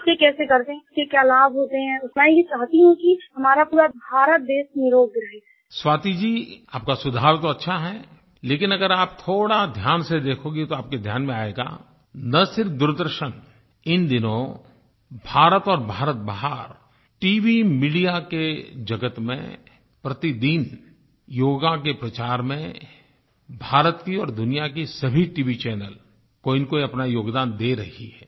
उसे कैसे करते हैं उसके क्या लाभ होते हैं स्वाति जी आपका सुझाव तो अच्छा है लेकिन अगर आप थोड़ा ध्यान से देखोगे तो आपके ध्यान में आएगा न सिर्फ़ दूरदर्शन इन दिनों भारत और भारत बाहर टीवी मीडिया के जगत में प्रतिदिन योग के प्रचार में भारत के और दुनिया के सभी टीवी चैनल कोईनकोई अपना योगदान दे रही हैं